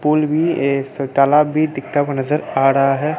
फूल भी एक तालाब भी दिखता हुआ नजर आ रहा है।